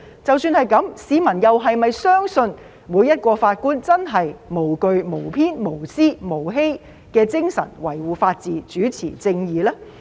縱使如此，市民又是否相信每位法官真的以無懼、無偏、無私、無欺的精神維護法治，主持正義呢？